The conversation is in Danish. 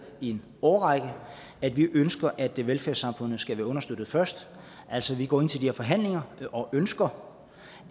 i en årrække at vi ønsker at velfærdssamfundet skal være understøttet først altså vi går ind til de her forhandlinger og ønsker